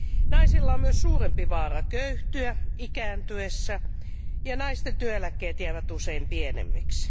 Naisilla on myös suurempi vaara köyhtyä ikääntyessään ja naisten työeläkkeet jäävät usein pienemmiksi.